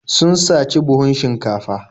Sun saci buhun shinkafa.